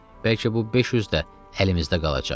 Bəlkə bu 500 də əlimizdə qalacaq.